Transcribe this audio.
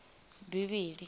bivhilini